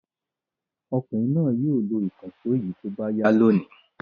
Ọkùnrin náà yóò lo ìkànṣó yìí tó bá yá lónìí.